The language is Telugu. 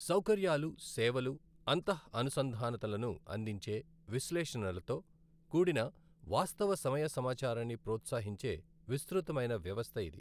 సౌకర్యాలు, సేవలు, అంతఃఅనుసంధానతలను అందించే, విశ్లేషణలతో కూడిన వాస్తవ సమయ సమాచారాన్ని ప్రోత్సహించే విస్తృతమైన వ్యవస్థ ఇది.